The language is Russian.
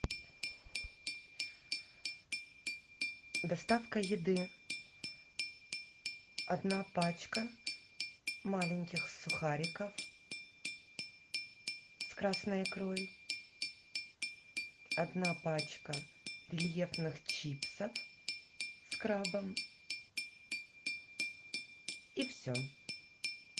доставка еды одна пачка маленьких сухариков с красной икрой одна пачка рельефных чипсов с крабом и все